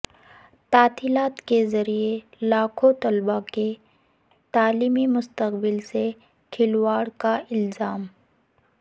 تعطیلات کے ذریعہ لاکھوں طلبہ کے تعلیمی مستقبل سے کھلواڑ کا الزام